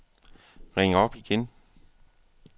ring op igen